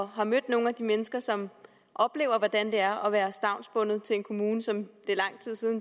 har mødt nogle af de mennesker som oplever hvordan det er at være stavnsbundet til en kommune som